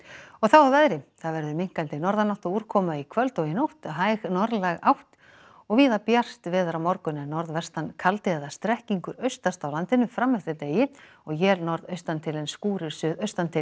og þá að veðri það verður minnkandi norðanátt og úrkoma í kvöld og nótt hæg norðlæg átt og víða bjart veður á morgun en norðvestan kaldi eða strekkingur austast á landinu fram eftir degi og él norðaustantil en skúrir